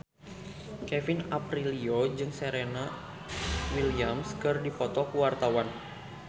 Kevin Aprilio jeung Serena Williams keur dipoto ku wartawan